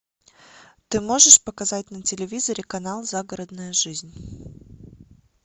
ты можешь показать на телевизоре канал загородная жизнь